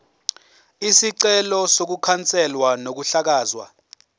isicelo sokukhanselwa kokuhlakazwa